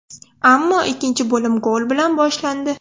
Ammo ikkinchi bo‘lim gol bilan boshlandi.